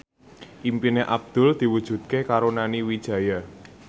impine Abdul diwujudke karo Nani Wijaya